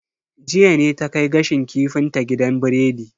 Jiya ne ta kai gashin kifin ta gidan biredi.